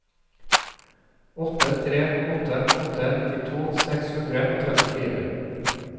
åtte tre åtte åtte nittito seks hundre og trettifire